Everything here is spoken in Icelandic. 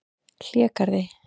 Hlégarði